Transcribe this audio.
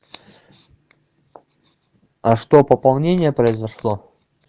а что пополнение произошло